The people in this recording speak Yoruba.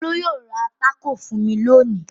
Olú yóò ra tákò fún mi lónìí.